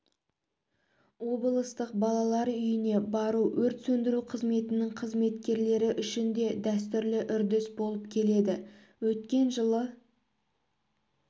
облыстық балалар үйіне бару өрт сөндіру қызметінің қызметкерлері үшін дәстүрлі үрдіс болып келеді өткен жылы